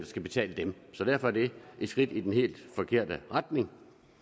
skal betale så derfor er det et skridt i den helt forkerte retning